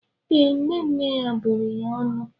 Ee, nne nne ya bụrụ ya ọnụ.